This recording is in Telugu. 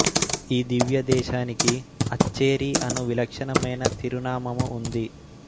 ఈ దివ్య దేశానికి అచ్చేరి అను విలక్షణమైన తిరునామము ఉంది